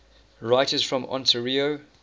writers from ontario